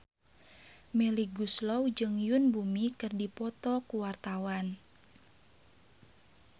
Melly Goeslaw jeung Yoon Bomi keur dipoto ku wartawan